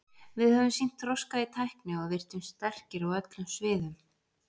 Við höfum sýnt þroska í tækni og virtumst sterkir á öllum sviðum.